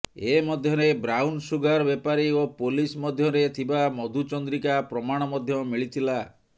ଏ ମଧ୍ୟରେ brown sugar ବେପାରୀ ଓ ପୋଲିସ ମଧ୍ୟରେ ଥିବା ମଧୁ ଚନ୍ଦ୍ରିକା ପ୍ରମାଣ ମଧ୍ୟ ମିଳିଥିଲା